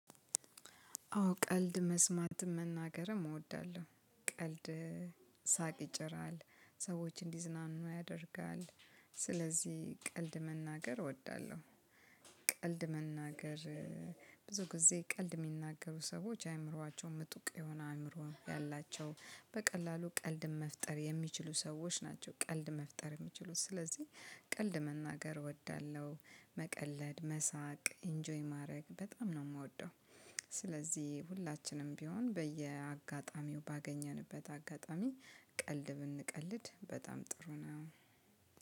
አዎ ቀልድ መስማትም መናገርም እወዳለሁ ቀልድ ሳቅ ይጭራል ሰዎች እንዲዝናኑ ያደርጋል። ስለዚህ ቀልድ መናገር እወዳለሁ። ቀልድ መናገር ብዙ ጊዜ ቀልድ እሚናገሩ ሰዎች አእምሮአቸው ምጡቅ የሆነ አእምሮ ያላቸው በቀላሉ ቀልድን መፍጠር የሚችሉ ሰዎች ናቸው። ቀልድ መፍጠር የሚችሉት ስለዚህ ቀልድ መናገር እወዳለሁ። መቀለድ መሳቅ ኢንጆይ ማድረግ በጣም ነው እምወደው። ስለዚህ ሁላችንም ቢሆን በየአጋጣሚው ባገኘንበት አጋጣሚ ቀልድ ብንቀልድ በጣም ጥሩ ነው።